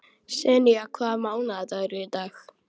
Senía, hvaða mánaðardagur er í dag?